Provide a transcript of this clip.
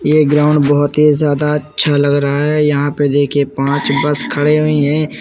ये गाऊंड बहुत ही ज्यादा अच्‍छा लग रहा हैं यहाँ पे दे‍खिये पाँच बस खड़े हुई है।